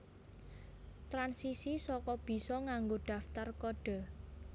Transisi saka bisa nganggo daftar kodhe